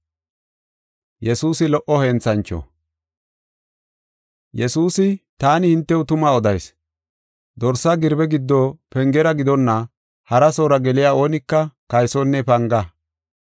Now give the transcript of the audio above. Yesuusi, “Taani hintew tuma odayis; dorsa girbe giddo pengera gidonna harasoora geliya oonika kaysonne panga.